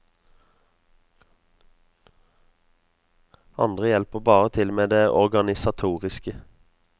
Andre hjelper bare til med det organisatoriske.